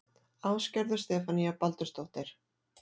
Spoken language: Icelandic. Ásgerður Stefanía Baldursdóttir